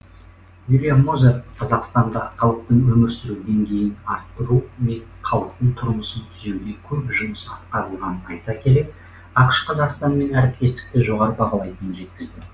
уильям мозер қазақстанда халықтың өмір сүру деңгейін арттыру мен халықтың тұрмысын түзеуде көп жұмыс атқарылғанын айта келе ақш қазақстанмен әріптестікті жоғары бағалайтынын жеткізді